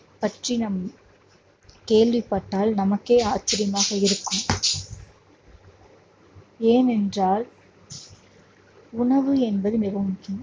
பற்றி நாம் கேள்விப்பட்டால் நமக்கே ஆச்சரியமாக இருக்கும் ஏனென்றால் உணவு என்பது மிகவும் முக்கியம்